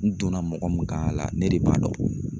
N donna mɔgɔ min kan a la, ne de b'a dɔn.